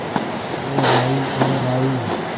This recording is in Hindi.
ओ राही ओ राही